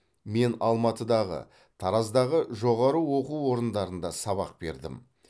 мен алматыдағы тараздағы жоғары оқу орындарында сабақ бердім